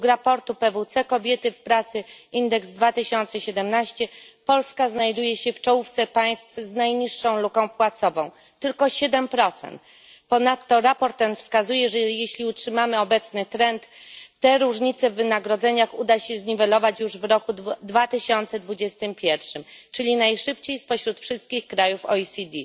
Według raportu PwC Kobiety w pracy indeks 2017 Polska znajduje się w czołówce państw z najniższą luką płacową tylko siedem procent. Ponadto raport ten wskazuje, że jeśli utrzymamy obecny trend, te różnice w wynagrodzeniach uda się zniwelować już w roku 2021, czyli najszybciej spośród wszystkich krajów OECD.